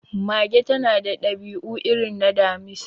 Mage ta na da dabi'u irin na Damisa